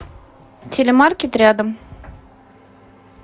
телемаркет рядом